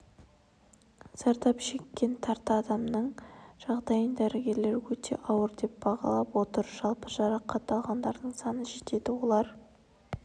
зардап шеккен тарта адамның жағдайын дәрігерлер өтеауыр деп бағалап отыр жалпы жарақат алғандардың саны жетеді олар